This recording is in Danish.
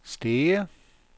Stege